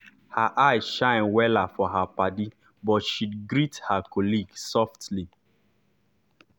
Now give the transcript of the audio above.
her eye shine wella for her paddy but she greet her colleague softly.